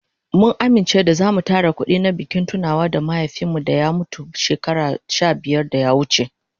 Mun amince da zamu tara kudi na bikin tunawa da mahaifin mu da ya mutu shekaru sha biyar da ya wuce.